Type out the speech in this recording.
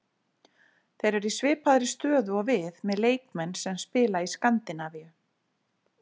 Þeir eru í svipaðri stöðu og við, með leikmenn sem spila í Skandinavíu.